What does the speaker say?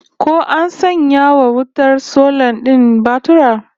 Ko an sanya wa wutar sola din batura?